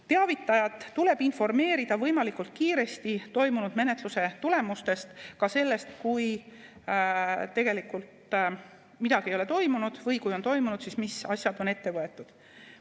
Teavitajat tuleb võimalikult kiiresti informeerida toimunud menetluse tulemustest, ka sellest, kui tegelikult midagi ei ole toimunud, või kui on toimunud, siis mis asjad on ette võetud.